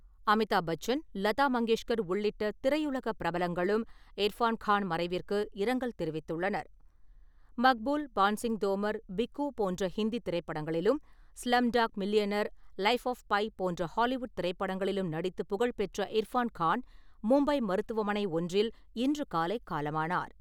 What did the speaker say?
அமிதாப் பச்சன், லதா மங்கேஷ்கர் உள்ளிட்ட திரையுலக பிரபலங்களும் இர்ஃபான் கான் மறைவிற்கு இரங்கல் தெரிவித்துள்ளனர். மக்பூல், பான்சிங் தோமர், பிக்கு போன்ற ஹிந்தி திரைப்படங்களிலும், Slumdog millionaire, life app by போன்ற ஹாலிவுட் திரைப்படங்களிலும் நடித்து புகழ்பெற்ற இர்ஃபான் கான் மும்பை மருத்துவமனை ஒன்றில் இன்று காலை காலமானார்.